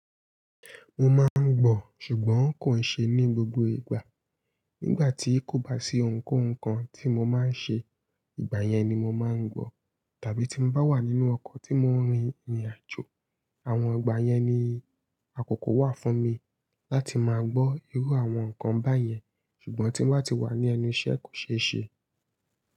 Mo máa ń gbọ̀, ṣùgbọ́n kò ṣe ní gbogbo ìgbà. Nígbà tí kò bá sí ohunkóhun kan tí mo máa ń ṣe, ìgbà yẹn ni mo máa ń gbọ̀. Tàbí tí mo bá wà nínú ọkọ̀ tí mò ń rin ìrìnàjò. Àwọn ìgbà yẹn ni àkókò wà fún mi láti máa gbọ́ irú àwọn nǹkan báyẹn. Ṣùgbọ́n tí mo bá ti wà ní ẹnu iṣẹ́ kò ṣe é ṣe.